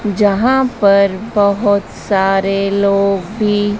यहां पर बहुत सारे लोग भी--